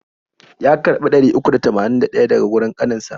Ya karbi ɗari uku da tamanin da ɗaya daga wurin kanin sa.